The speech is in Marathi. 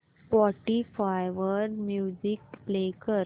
स्पॉटीफाय वर म्युझिक प्ले कर